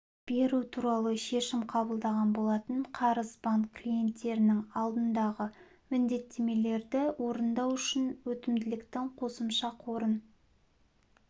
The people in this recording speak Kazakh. беру туралы шешім қабылдаған болатын қарыз банк клиенттерінің алдындағы міндеттемелерді орындау үшін өтімділіктің қосымша қорын